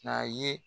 A ye